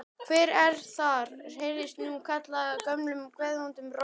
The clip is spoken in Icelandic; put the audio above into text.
Hver er þar? heyrðist nú kallað gömlum geðvondum rómi.